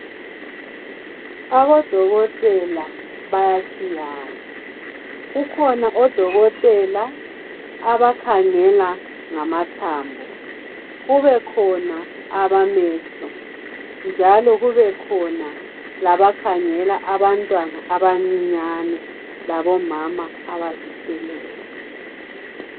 Odokotela bayatshiyana kukhona odokotela abakhangela ngamathambo bebekhona abamehlo njalo kubekhona labakhangela abantwana abancinyane labomama abazithweleyo.